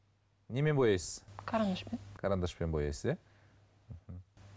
немен бояйсыз карандашпен карандашпен бояйсыз иә